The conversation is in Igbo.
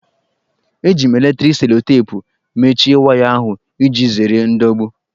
Eji m eletriki selotepụ mechie waya ahụ, iji zere ndọgbu